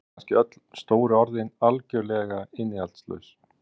Voru kannski öll stóru orðin algjörlega innihaldslaus?